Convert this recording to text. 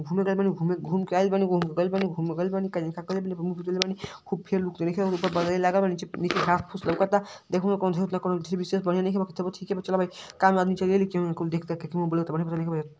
घूमे गइल बानी घूमे। घूम के आइल बानी घूमे के गइल बानी घूमे गइल बानी का जाने का कइले बानी आपन मुंह पिटइले बानी। खूब फेलूक । ऊपर लागल बा नीचे प् नीचे घास फूस लउकता। देखा ओमे कौनो विशेष बढ़िया नईखे बाकी तबो ठीके बा चला भाई काम आदमी देख दाख के --